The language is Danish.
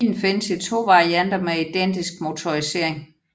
Bilen findes i to varianter med identisk motorisering